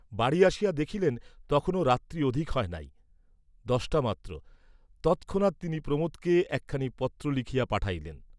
বাড়ি আসিয়া দেখিলেন তখনো রাত্রি অধিক হয় নাই, দশটা মাত্র, তৎক্ষণাৎ তিনি প্রমোদকে একখানি পত্র লিখিয়া পাঠাইলেন।